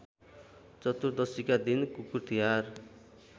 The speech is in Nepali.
चतुर्दशीका दिन कुकुरतिहार